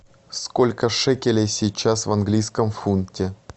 сколько шекелей сейчас в английском фунте